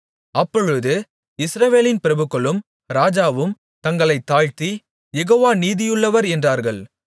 அப்பொழுது இஸ்ரவேலின் பிரபுக்களும் ராஜாவும் தங்களைத் தாழ்த்தி யெகோவா நீதியுள்ளவர் என்றார்கள்